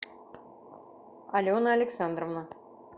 алена александровна